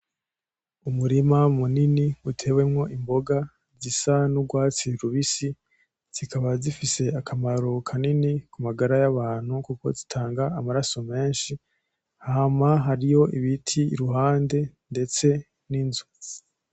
Umurima munini utewemwo imboga zisa n'urwatsi rubisi, zikaba zifise akamaro kanini k'umagara y'abantu kuko zitanga amaraso menshi. Hama hariyo ibiti kuruhande ndetse n'inzu.